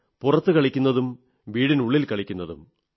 പുറത്ത് കളിക്കുന്നതും വീട്ടിനുള്ളിൽ കളിക്കുന്നതും